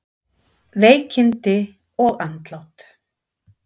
Veikindi og andlát